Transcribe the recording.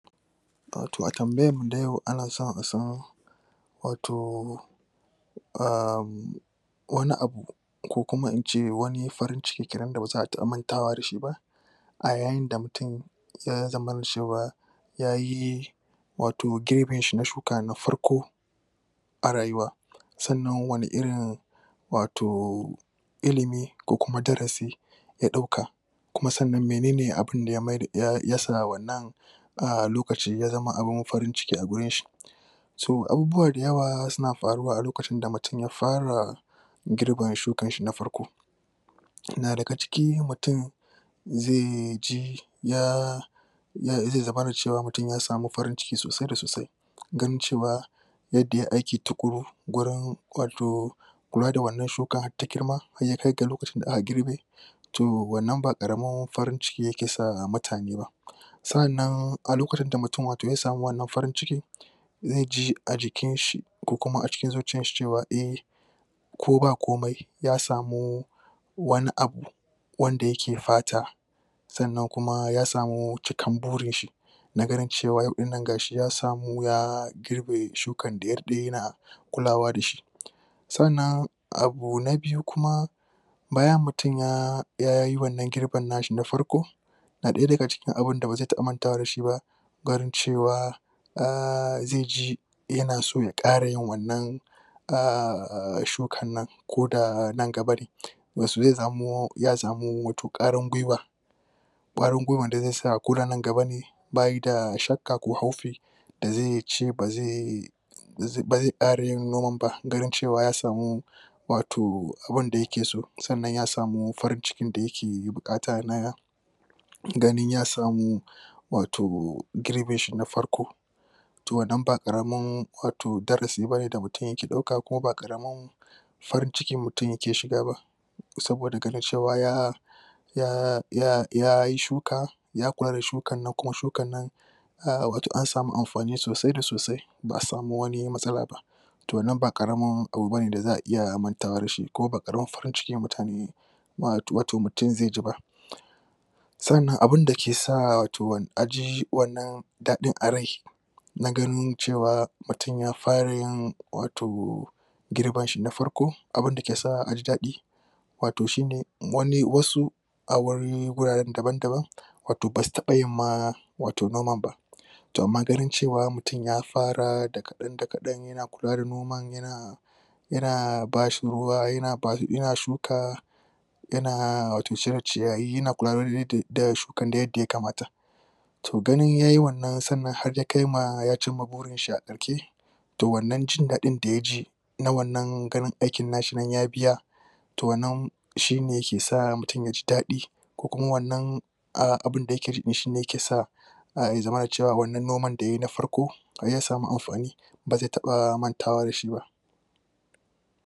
Wato a tambayan mu a yau ana so a san wato um wane abu ko kuma ince wane farin ciki kenan da baza a taba mantawa da shi ba a yayin da mutum ya zaman cewa yayi wato girbin shi na shuka na farko a rayuwa. Sannan wane irin wato illimi ko kuma darasi ya dauka kuma sannan menene abun da ya wannan a lokacin ya zama abun farin ciki a wurin shi so abubuwa da yawa suna faruwa a lokacin da mutum ya fara girban shukan shi na farko. Yana daga ciki mutum ze ji ya ze zamana cewa mutum ya samu farin ciki sosai da sosai. Ganin cewa yadda yayi aiki wurin wato kula da wannan shuka ta girma in ya kai lokacin da za'a girbe toh wannan ba karanin farin ciki yake sa mutane, sannan a lokacin da mutum wato ya samu wannan farin cikin, ze ji a jikin shi ko kuma a cikin zuciyan shi cewa ko ba komai ko ya samu wane abu wanda yake fata sannan kuma ya samu cikan burin shi na ganin cewa in gashi ya samu ya girbe shukan da yadda yana kulawa da shi Sannan abu na biyu kuma bayan mutum yayi wannan girben na shi na farko, na daya daga cikin abun da ba ze taba manta da shi ba ganin cewa a' ze ji yana so ya kara yin wannan a shukan nan ko da nan gaba ne kwarin gwiwa Kwarin gwiwa da ze sa ko da nan gaba ne ba yadda shakka ko hofi da zai ce ba zai ba zai kara yin noman ba, ganin cewa ya samu wato wan da yake so, sannan ya samu farin cikin da yake bukata na na ganin ya samu wato girbin shi na farko toh wannan ba karamin wato darasi bane da mutum yake dauka kuma ba karamin farin ciki mutum yake shiga ba saboda ganin cewa ya yayi shuka, ya da shukan na kuma shukan nan wato an samu amfani sosai da sosai ba'a samu wane matsala ba toh nan ba karamin da za'a iya mantawa da shi kuma ba karamin farin ciki mutane wato mutum zai ji ba Sannan abin da ke sa aji wannan dadin a rai'n shin na ganin cewa mutum ya fara yin wato girban shi na farko, abun da ke sa a' ji dadi wato shi ne wane, wasu a wuri, wurare dabab-daban wata ba su taba yin ma wato noman ba toh amma ganin cewa mutum ya fara da kadan da kadan, yana kula da noman, yana yana ba shi ruwa yana, yana shuka yana wato cire ciyayi, yana kula dai da shukan yadda ya kamata toh gani yayi wannan sanar har da kai ma ya cinma buri adauke toh wannan jin dadin da ya ji na wannan ganin aikin shi ya biya toh wannan shi ne yake sa mutum ya ji dadi ko kuma wannan abun da yake rimishi yake sa a' ya zama da cewa wannan noma da ya yi na farko ya samu amfani